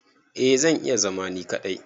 Eh zan iya zama ni kadai.